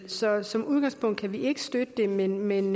så som udgangspunkt kan vi ikke støtte det men men